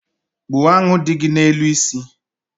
Gbuo aṅụ dị gị n’elu isi